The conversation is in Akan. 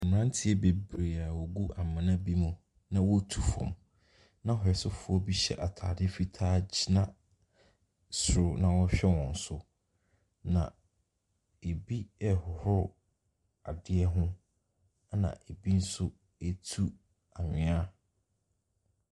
Mmeranteɛ bebree a wɔgu amena bi mu, na hwɛsofoɔ bi hyɛ atade fitaa gyina soro na ɔrehwɛ so. Na ɛbi rehohoro adeɛ ho, ɛna ɛbi nso retu anwea.